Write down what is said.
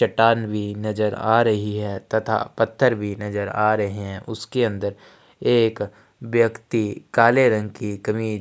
चट्टान भी नज़र आ रही है तथा पत्थर भी नज़र आ रहे है उसके अंदर एक व्यक्ति काले रंग की कमीज --